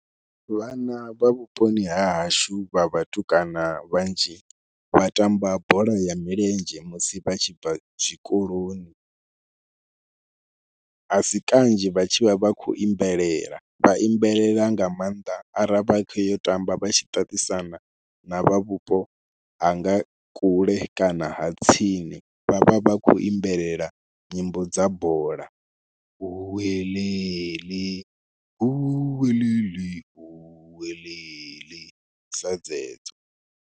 Vhana vha vhuponi ha hashu vha vhatukana vhanzhi vha tamba bola ya milenzhe musi vha tshi bva zwikoloni, a si kanzhi vha tshi vha vha khou imbelelela, vha imbelela nga maanḓa ara vha khou yo tamba vha tshi ṱaṱisana na vha vhupo ha nga kule kana ha tsini vha vha vha khou imbelelela nyimbo dza bola, huweḽeḽi huweḽeḽi huweḽeḽi sa dzedzo.